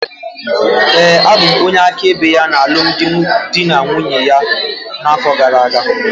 Ee, abụ m onye áká ebe ya na alụmdi na nwunye ya na-afọ gara-aga.